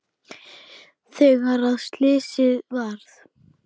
Þegar að slysið varð?